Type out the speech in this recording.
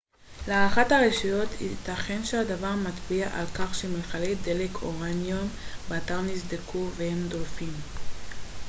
להערכת הרשויות ייתכן שהדבר מצביע על כך שמכלי דלק אורניום באתר נסדקו והם דולפים